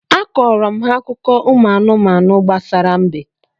A kọọrọ m ha akụkọ ụmụ anụmanụ gbasara mbe